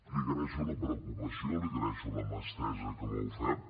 li agraeixo la preocupació li agraeixo la mà estesa que m’ha ofert